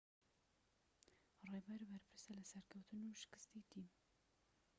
ڕێبەر بەرپرسە لە سەرکەوتن و شکستی تیم